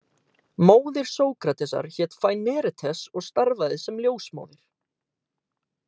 Móðir Sókratesar hét Faínaretes og starfaði sem ljósmóðir.